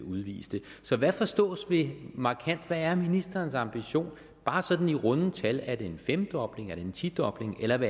udviste så hvad forstås ved markant hvad er ministerens ambition bare sådan i runde tal er det en femdobling er det en tidobling eller hvor